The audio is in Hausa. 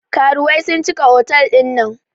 Karuwai sun cika otal ɗin nan